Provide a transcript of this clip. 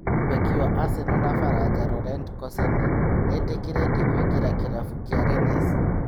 Mbeki wa Aseno na Baranja Rorent Koseni nĩ etĩkĩrĩte kũingĩra kĩrabu kĩa Renesi.